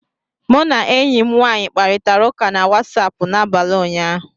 Mụ na enyi m nwanyị kparịtara ụka na Wasapụ n'abalị ụnyaahụ